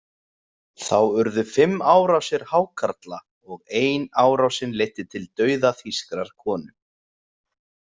Þá urðu fimm árásir hákarla og ein árásin leiddi til dauða þýskrar konu.